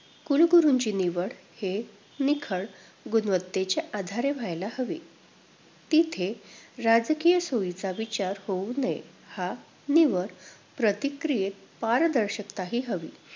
कुलगुरुंची निवड ही निखळ गुणवत्तेच्या आधारे व्हायला हवी. तिथे राजकीय सोयीचा विचार होऊ नये! ह्या निवड प्रक्रियेत पारदर्शकता ही हवी.